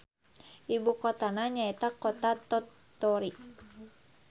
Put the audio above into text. Ibukotana nyaeta Kota Tottori.